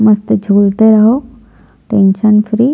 मस्त झूलते रहो टेन्सन फ्री --